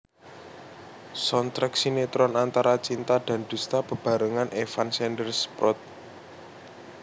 Soundtrack sinetron Antara Cinta dan Dusta bebarengan Evan Sanders prod